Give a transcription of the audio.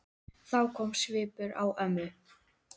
Þá kom svipur á ömmu.